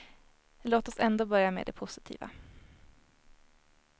Låt oss ändå börja med det positiva.